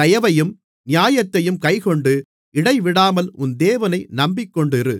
தயவையும் நியாயத்தையும் கைக்கொண்டு இடைவிடாமல் உன் தேவனை நம்பிக்கொண்டிரு